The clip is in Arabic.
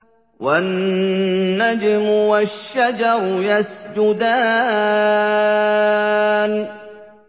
وَالنَّجْمُ وَالشَّجَرُ يَسْجُدَانِ